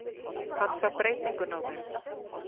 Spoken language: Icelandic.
Hann sá breytinguna á þeim.